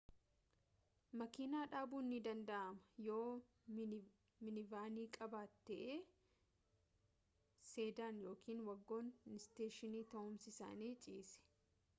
makiina dhabuun ni danda'ama yoo minivanii qabaate suv sedan yookiin wagon isteeshinii ta'umsi isaanii ciise